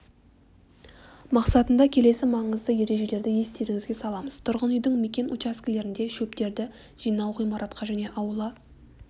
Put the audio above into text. мақсатында келесі маңызды ержелерді естеріңізге саламыз тұрғын үйдің мекен учаскелерінде шөптерді жинау ғимаратқа және аула